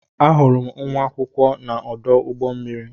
Ahụrụ m nwa akwụkwọ m na-ọdụ ụgbọ mmiri.